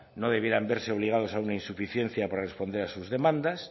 no debieran verse obligados a una insuficiencia para responder a sus demandas